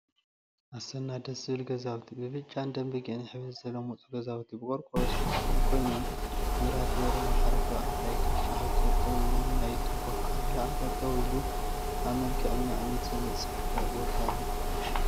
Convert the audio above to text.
አሰና ደስ ዝብል ገዛውቲ! ብብጫን ደምበጊዕን ሕብሪ ዝተለመፁ ገዛውቲ ብቆርቆሮ ዝተከደኑ ኮይኖም፤ መብራህቲ በሪሆም ሓደ ተባዕታይ ክሻ ሒዙ ጠጠው ኢሉ ማይ ቱባ ከዓ ንላዕሊ ጠጠው ኢሉ አብ መልክዐኛ እምኒ ዝተነፀፈ ቦታ አሎ፡፡